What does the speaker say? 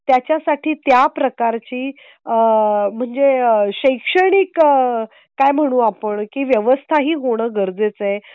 त्याच्या साठीत्या प्रकारची आह म्हणजे शैक्षणिक आह काय म्हणू आपण की व्यवस्था ही होणं गरजेचं आहे